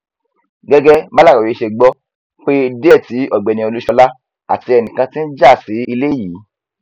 gẹgẹ bàlàròyé ṣe gbọ ọ pé díẹ tí ọgbẹni olúṣọlá àti ẹnìkan ti ń já sí ilé yìí